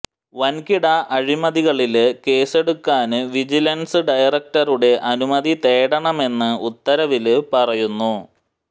വന്കിട അഴിമതികളില് കേസെടുക്കാന് വിജലന്സ് ഡയറക്ടറുടെ അനുമതി തേടണമെന്ന് ഉത്തരവില് പറയുന്നു